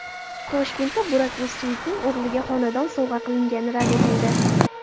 Toshkentda Burak O‘zchivitning o‘g‘liga xonadon sovg‘a qilingani rad etildi.